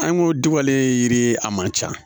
An ko diwale yiri a man ca